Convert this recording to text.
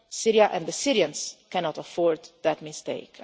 anymore Syria and the Syrians cannot afford that